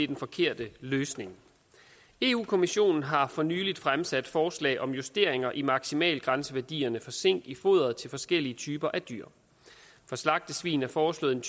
den forkerte løsning europa kommissionen har for nylig fremsat forslag om justeringer i maksimalgrænseværdierne for zink i foderet til forskellige typer af dyr for slagtesvin er foreslået en